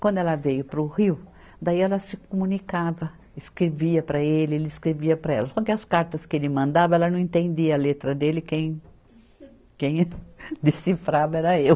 Quando ela veio para o Rio, daí ela se comunicava, escrevia para ele, ele escrevia para ela, só que as cartas que ele mandava, ela não entendia a letra dele, quem quem decifrava era eu.